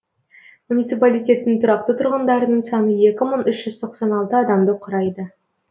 муниципалитеттің тұрақты тұрғындарының саны екі мың үш жүз тоқсан алты адамды құрайды